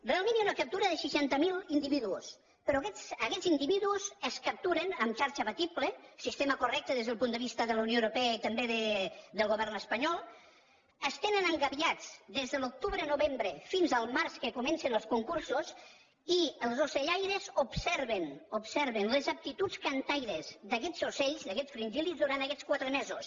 realment hi ha una captura de seixanta mil individus però aquests individus es capturen amb xarxa abatible sistema correcte des del punt de vista de la unió europea i també del govern espanyol es tenen engabiats des de l’octubre i novembre fins al març que comencen els concursos i els ocellaires observen observen les aptituds cantaires d’aquests ocells d’aquests fringíl·lids durant aquests quatre mesos